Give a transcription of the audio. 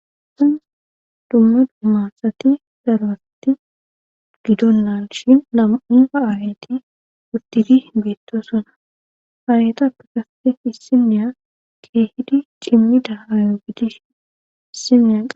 sin dumma dummasati daroasati gidonnan shin nama7unfa aayati wurtidi beettosona aayatappe kasetefi isineya keehidi cimmida haayo gidish issineyaq